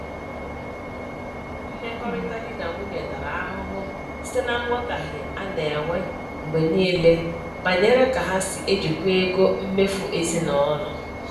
Mmekọrịta di na nwunye tara ahụhụ site na nghọtahie a na-enwe mgbe niile banyere ka ha si ejikwa ego mmefu ezinụlọ.